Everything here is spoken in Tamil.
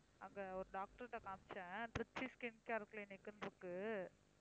அங்க ஒரு doctor ட்ட காமிச்சேன் திருச்சி ஸ்கின் கேர் கிளினிக்னு இருக்கு